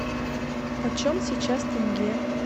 почем сейчас тенге